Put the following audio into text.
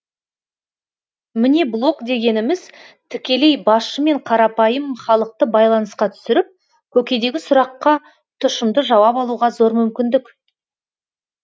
міне блог дегеніміз тікелей басшы мен қарапайым халықты байланысқа түсіріп көкейдегі сұраққа тұшымды жауап алуға зор мүмкіндік